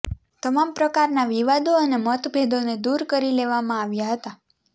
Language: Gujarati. તમામ પ્રકારના વિવાદો અને મતભેદોને દૂર કરી લેવામાં આવ્યા હતા